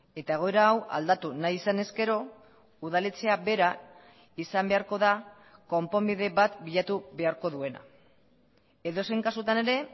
eta egoera hau aldatu nahi izan ezkero udaletxea bera izan beharko da konponbide bat bilatu beharko duena edozein kasutan ere